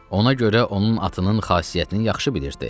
Ona görə onun atının xasiyyətini yaxşı bilirdi.